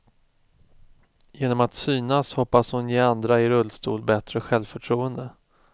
Genom att synas hoppas hon ge andra i rullstol bättre självförtroende.